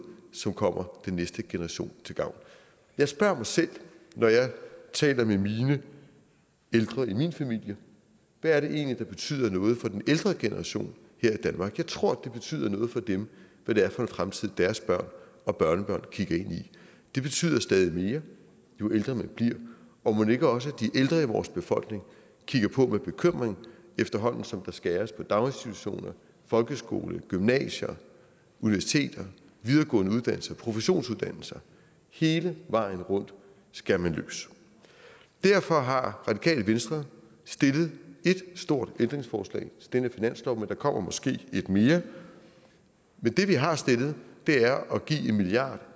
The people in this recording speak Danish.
som kommer den næste generation til gavn jeg spørger mig selv når jeg taler med de ældre i min familie hvad det egentlig er der betyder noget for den ældre generation her i danmark jeg tror det betyder noget for dem hvad det er for en fremtid deres børn og børnebørn kigger ind i det betyder stadig mere jo ældre man bliver og mon ikke også de ældre i vores befolkning kigger på med bekymring efterhånden som der skæres på daginstitutioner folkeskoler gymnasier universiteter videregående uddannelser og professionsuddannelser hele vejen rundt skærer man løs derfor har radikale venstre stillet ét stort ændringsforslag til denne finanslov men der kommer måske et mere men det vi har stillet er at give en milliard